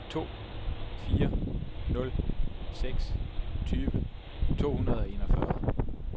to fire nul seks tyve to hundrede og enogfyrre